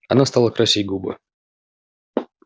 она стала красить губы